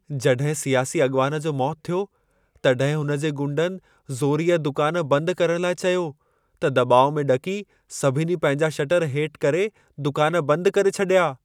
जॾहिं सियासी अॻवान जो मौतु थियो, तॾहिं हुनजे गुंडनि ज़ोरीअ दुकान बंद करण लाइ चयो, त दॿाउ में ॾकी सभिनी पंहिंजा शटर हेठि करे दुकान बंद करे छॾिया।